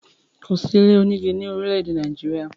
Kò sí ilé onígi ni orile-ede Nàìjíríà.